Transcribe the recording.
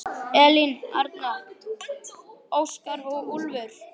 Elín Arna, Óskar og Úlfur.